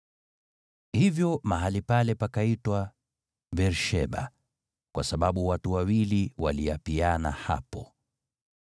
Hivyo mahali pale pakaitwa Beer-Sheba, kwa sababu watu wawili waliapiana hapo.